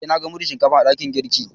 Eh, na gan mudun Shinkafan a dakin girki.